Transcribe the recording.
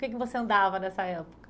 Com quem você andava nessa época?